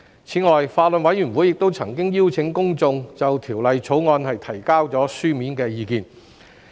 此外，法案委員會亦曾邀請公眾就《條例草案》提交書面意見。